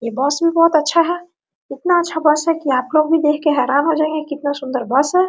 ये बस भी बहुत अच्छा है इतना अच्छा बस है की आप लोग भी देख के हैरान हो जायेंगे कितना सुन्दर बस हैं।